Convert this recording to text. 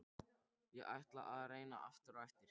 Ég ætla að reyna aftur á eftir.